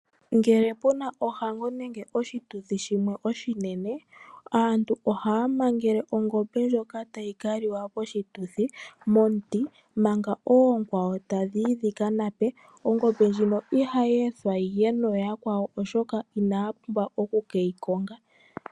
Ngele pu na ohango nenge oshituthi shimwe oshinene, aantu ohaya mangele ongombe ndjoka tayi ka liwa poshituthi momuti manga oonkwawo tadhi yi dhika nape. Ongombe ndjino ihayi ethwa yi ye noonkwawo, oshoka inaya pumbwa oku ke yi konga.